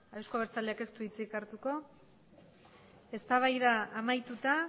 euzko abertzaleak ez du hitzik hartuko eztabaida amaituta